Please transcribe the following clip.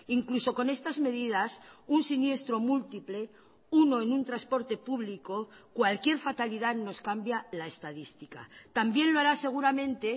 incluso con estas medidas un siniestro múltiple uno en un transporte público cualquier fatalidad nos cambia la estadística también lo hará seguramente